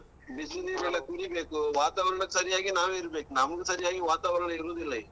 ಬಿಸಿ ನೀರೆಲ್ಲ ಕುಡಿಬೇಕು, ವಾತಾವರಣಕ್ಕೆ ಸರಿಯಾಗಿ ನಾವಿರಬೇಕು. ನಮಗೆ ಸರಿಯಾಗಿ ವಾತಾವರಣ ಇರುವುದಿಲ್ಲ ಈಗ.